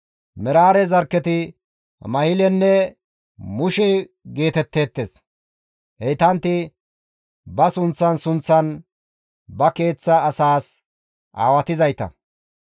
Meraare zarkketi Mahilenne Mushe geetetteettes; heytantti ba sunththan sunththan ba keeththa asaas aawatizayta.